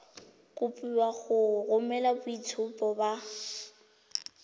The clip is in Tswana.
kopiwa go romela boitshupo ba